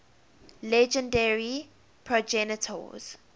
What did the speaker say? legendary progenitors